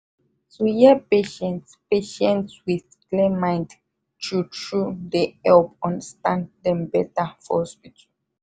to hear patient patient with clear mind true true dey help understand dem better for hospital